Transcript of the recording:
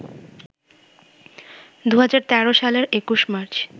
২০১৩ সালের ২১ মার্চ